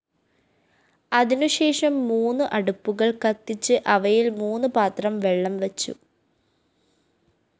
അതിനുശേഷം മൂന്നു അടുപ്പുകള്‍ കത്തിച്ച് അവയില്‍ മൂന്നുപാത്രം വെള്ളംവെച്ചു